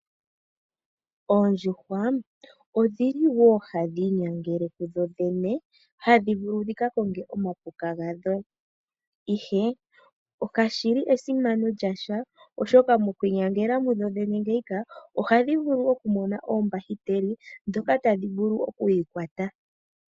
Oondjuhwa odhili woo hadhi inyangele kudhodhene, hadhi vulu dhikakonge omapuka gadho, ihe kashili esimano lyasha oshoka mo kwiinyangela mudhodhene ngeyika oha dhi vulu oku mona oombahiteli ndhoka tadhivulu oku yikwata